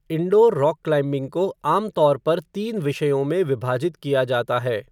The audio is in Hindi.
इंडोर रॉक क्लाइम्बिंग को आम तौर पर तीन विषयों में विभाजित किया जाता है।